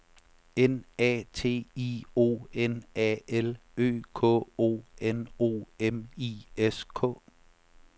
N A T I O N A L Ø K O N O M I S K